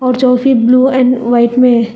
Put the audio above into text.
जो भी blue and white में है।